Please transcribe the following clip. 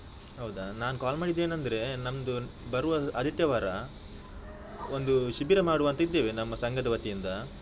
ಹೌದಾ, ನಾನು ಕಾಲ್ ಮಾಡಿದ್ದು ಏನಂದ್ರೆ, ನಮ್ದು ಬರುವ ಆದಿತ್ಯವಾರ ಒಂದು ಶಿಬಿರ ಮಾಡುವ ಅಂತ ಇದ್ದೇವೆ ನಮ್ಮ ಸಂಘದ ವತಿಯಿಂದ.